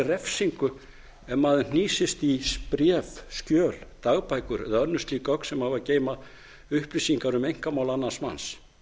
refsingu ef maður hnýsist í bréf skjöl dagbækur eða önnur slík gögn sem hafa að geyma upplýsingar um einkamál annars manns